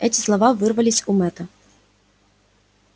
эти слова вырвались у мэтта